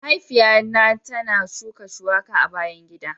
Mahaifiya na ta shuka shuwaka a bayan gida.